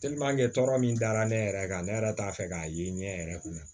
tɔɔrɔ min dara ne yɛrɛ kan ne yɛrɛ t'a fɛ k'a ye ɲɛ yɛrɛ kun na